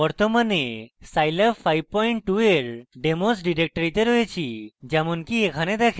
বর্তমানে আমি scilab 52 এর demos ডিরেক্টরিতে রয়েছি যেমনকি এখানে দেখেন